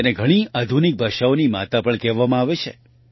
તેને ઘણી આધુનિક ભાષાઓની માતા પણ કહેવામાં આવે છે